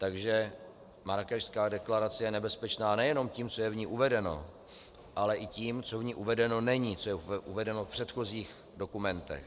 Takže Marrákešská deklarace je nebezpečná nejenom tím, co je v ní uvedeno, ale i tím, co v ní uvedeno není, co je uvedeno v předchozích dokumentech.